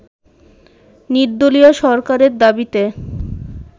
নির্দলীয় সরকারের দাবিতে